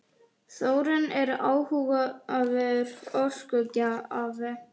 Þórín er áhugaverður orkugjafi.